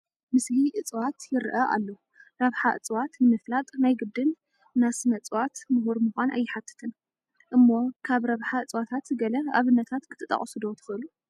ምስሊ እፅዋት ይርአ ኣሎ፡፡ ረብሓ እፅዋት ንምፍላጥ ናይ ግድን ናስ ስነ እፅዋት ምሁር ምዃን ኣይሓትትን እሞ ካብ ረብሓታት እፅዋት ገለ ኣብነታት ክትጠቕሱ ዶ ትኽእሉ?